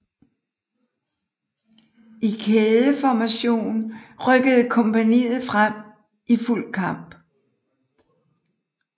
I kædeformation rykkede kompagniet frem i fuld kamp